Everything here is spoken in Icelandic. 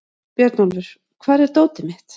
Björnólfur, hvar er dótið mitt?